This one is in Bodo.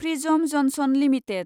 prism Johnson limited